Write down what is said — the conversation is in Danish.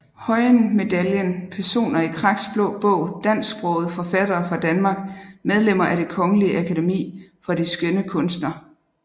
Høyen Medaljen Personer i Kraks Blå Bog Dansksprogede forfattere fra Danmark Medlemmer af Det Kongelige Akademi for de Skønne Kunster